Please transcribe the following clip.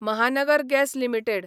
Mahanagar gas limited